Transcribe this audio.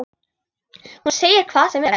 Hún segir hvað sem er.